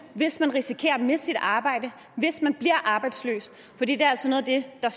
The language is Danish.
hvis man risikerer at miste sit arbejde hvis man bliver arbejdsløs for det er altså noget af det der